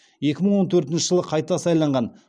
екі мың он төртінші жылы қайта сайланған